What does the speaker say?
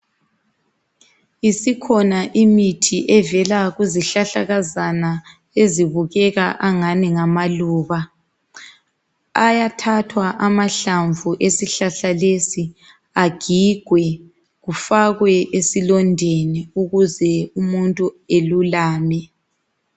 Isikhona imithi evela kuzihlahlakazana ezibukeka angani ngamaluba. Ayathathwa amahlamvu esihlahla lesi agigwe kufakwe esilondeni ukuze umuntu alulame.